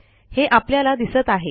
हे आपल्याला दिसत आहे